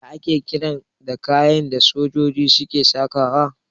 Ya ake kiran kayan da sojoji suke sakawa?